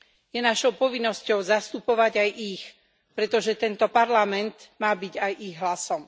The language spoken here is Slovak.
Je našou povinnosťou zastupovať aj ich, pretože tento Parlament má byť aj ich hlasom.